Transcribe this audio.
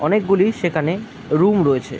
অনেকগুলি সেখানে রুম রয়েছে ।